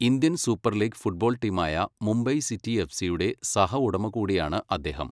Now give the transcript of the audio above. Indian super league football ടീമായ Mumbai city എഫ്സിയുടെ സഹ ഉടമ കൂടിയാണ് അദ്ദേഹം.